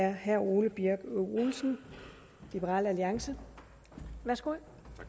er herre ole birk olesen liberal alliance værsgo